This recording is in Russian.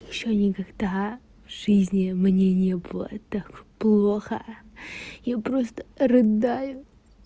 ещё никогда в жизни мне не было так плохо я просто рыдаю